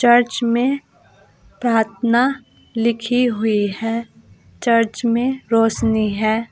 Church में प्रार्थना लिखी हुई है चर्च में रोशनी है।